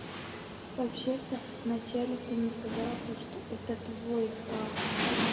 вообще-то вначале ты мне сказала то что это твой аккаунт